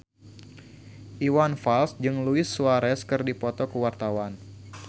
Iwan Fals jeung Luis Suarez keur dipoto ku wartawan